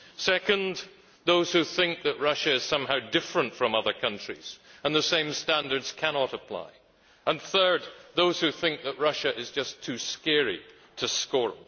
Second, there are those who think that Russia is somehow different from other countries and the same standards cannot apply and, third, there are those who think that Russia is just too scary to scorn.